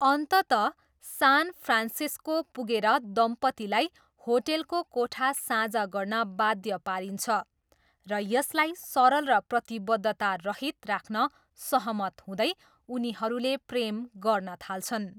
अन्ततः San Francisco, दम्पतीलाई होटेलको कोठा साझा गर्न बाध्य पारिन्छ, र यसलाई सरल र प्रतिबद्धतारहित राख्न सहमत हुँदै, उनीहरूले प्रेम गर्न थाल्छन्।